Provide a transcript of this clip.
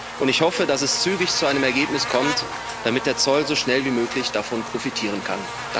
Und ich hoffe, dass es zügig zu einem Ergebnis kommt, damit der Zoll so schnell wie möglich davon profitieren kann.